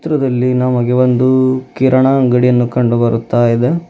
ರದಲ್ಲಿ ನಮಗೆ ಒಂದು ಕಿರಣಾ ಅಂಗಡಿಯನ್ನು ಕಂಡು ಬರುತ್ತಾ ಇದೆ.